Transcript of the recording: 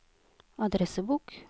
adressebok